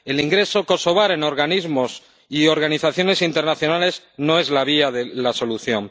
El ingreso kosovar en organismos y organizaciones internacionales no es la vía de la solución.